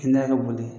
Kɛnɛya ka boli